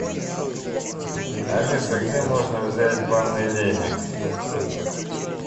алиса где можно взять банный веник